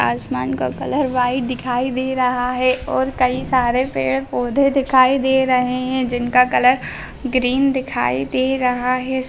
आसमान का colour white दिखाई दे रहा है और कई सारे पेड़-पौधे दिखाई दे रहें हैं जिनका कलर ग्रीन दिखाई दे रहा है।